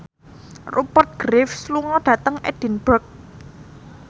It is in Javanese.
Rupert Graves lunga dhateng Edinburgh